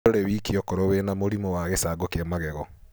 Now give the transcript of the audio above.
Ndũrĩ wiki okorwo wĩna mũrimũ wa gĩcango kĩa magego.